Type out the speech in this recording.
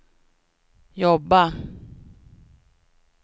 jobba